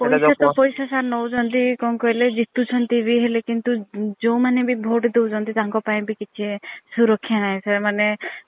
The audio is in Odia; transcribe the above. ଏତେ ପୈସା sir ନୌଛହାନ୍ତି କଣ କହିଲେ ଜିତୁ ଚନ୍ତି ବି ହେଲେ କିନ୍ତୁ ଯୋଉ ମାନେ ବି vote ଦୌଛନ୍ତି ତାଙ୍କ ପାଇଁ ବି କିଛି ସୁରକ୍ଷା ନାହିଁ sir ମାନେ